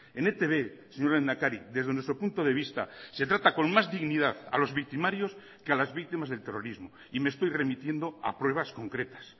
en etb señor lehendakari desde nuestro punto de vista se trata con más dignidad a los victimarios que a las víctimas del terrorismo y me estoy remitiendo a pruebas concretas